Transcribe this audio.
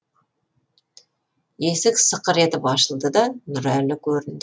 есік сықыр етіп ашылды да нұрәлі көрінді